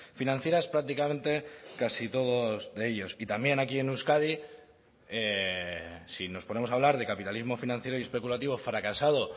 financieras prácticamente casi todos de ellos y también aquí en euskadi si nos ponemos a hablar de capitalismo financiero y especulativo fracasado